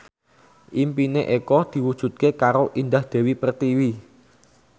impine Eko diwujudke karo Indah Dewi Pertiwi